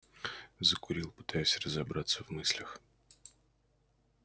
закурил пытаясь разобраться в мыслях